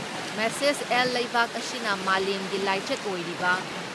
message L ꯂꯩꯕꯥꯛ ꯑꯁꯤꯅ ꯃꯥꯂꯦꯝꯒꯤ ꯂꯥꯏꯆꯠ ꯑꯣꯏꯔꯤꯕ